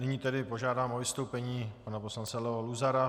Nyní tedy požádám o vystoupení pana poslance Leo Luzara.